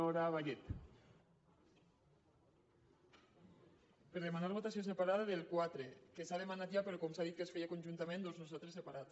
per demanar votació separada del quatre que s’ha demanat ja però com s’ha dit que es feia conjuntament doncs per a nosaltres separat